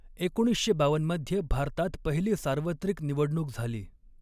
एकोणीसशे बावन्न मध्ये भारतात पहिली सार्वत्रिक निवडणूक झाली.